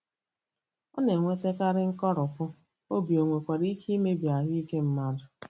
ọ na-ewetakarị nkoropụ obi,o nwekwara ike imebi ahụ ike mmadụ.